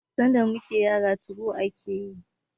Sanda muna yara '2go' ake yayi